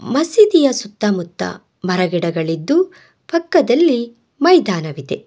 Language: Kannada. ಮಸೀದಿಯ ಸುತ್ತಮುತ್ತ ಮರ ಗಿಡಗಳಿದ್ದು ಪಕ್ಕದಲ್ಲಿ ಮೈದಾನವಿದೆ.